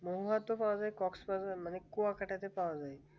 মহাতো পাওয়া যায় কুয়া কাটাতে পাওয়া যায়